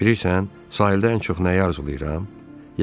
Bilirsən, sahildə ən çox nəyi arzulayıram?